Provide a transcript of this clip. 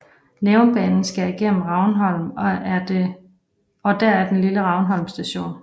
Nærumbanen skærer igennem Ravnholm og der er den lille Ravnholm Station